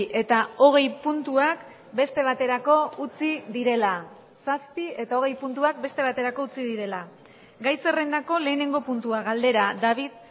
eta hogei puntuak beste baterako utzi direla zazpi eta hogei puntuak beste baterako utzi direla gai zerrendako lehenengo puntua galdera david